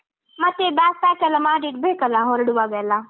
ಮತ್ತೆ bag pack ಎಲ್ಲ ಮಾಡಿ ಇಡ್ಬೇಕಲ್ಲ ಹೊರಡುವಾಗೆಲ್ಲ.